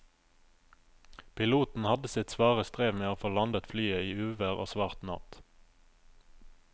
Piloten hadde sitt svare strev med å få landet flyet i uvær og svart natt.